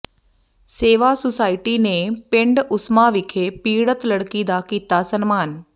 ਸੇਵਾ ਸੁਸਾਇਟੀ ਨੇ ਪਿੰਡ ਉਸਮਾ ਵਿਖੇ ਪੀੜਤ ਲੜਕੀ ਦਾ ਕੀਤਾ ਸਨਮਾਨ